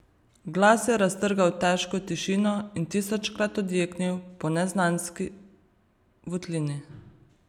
Glas je raztrgal težko tišino in tisočkrat odjeknil po neznanski votlini.